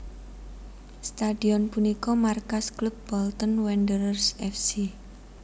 Stadion punika markas klub Bolton Wanderers F C